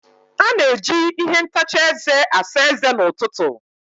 A na-eji ihe ntacha eze asa eze n'ụtụtụ.